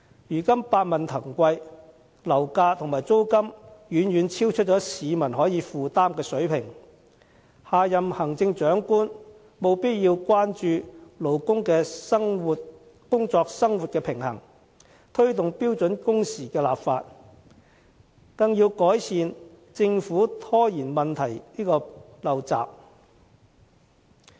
如今百物騰貴，樓價和租金遠遠超出市民可負擔的水平，下任行政長官務必要關注勞工的工作生活平衡，推動標準工時的立法，更要改善政府拖延問題的陋習。